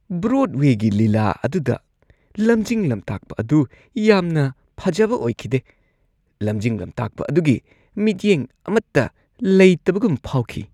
ꯕ꯭ꯔꯣꯗꯋꯦꯒꯤ ꯂꯤꯂꯥ ꯑꯗꯨꯗ ꯂꯝꯖꯤꯡ-ꯂꯝꯇꯥꯛꯄ ꯑꯗꯨ ꯌꯥꯝꯅ ꯐꯖꯕ ꯑꯣꯏꯈꯤꯗꯦ ꯫ ꯂꯝꯖꯤꯡ ꯂꯝꯇꯥꯛꯄ ꯑꯗꯨꯒꯤ ꯃꯤꯠꯌꯦꯡ ꯑꯃꯠꯇ ꯂꯩꯇꯕꯒꯨꯝ ꯐꯥꯎꯈꯤ꯫